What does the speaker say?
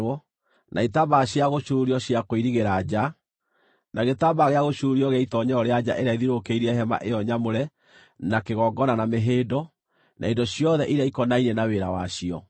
na itambaya cia gũcuurio cia kũirigĩra nja, na gĩtambaya gĩa gũcuurio gĩa itoonyero rĩa nja ĩrĩa ĩthiũrũkĩirie Hema ĩyo nyamũre na kĩgongona na mĩhĩndo, na indo ciothe iria ikonainie na wĩra wacio.